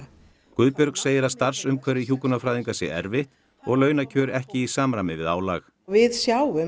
Guðbjörg segir að starfsumhverfi hjúkrunarfræðinga sé erfitt og launakjör ekki í samræmi við álag við sjáum